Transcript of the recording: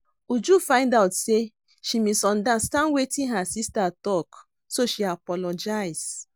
Uju find out say she misunderstand wetin her sister talk so she apologize